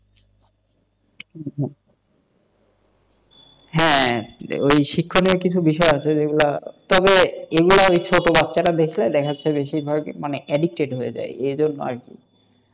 হ্যাঁ ওই শিক্ষণীয় কিছু বিষয় আছে যেগুলো তবে এগুলো দেখাচ্ছে মানে বেশি addicted হয়ে যায় এই জন্য আর কি,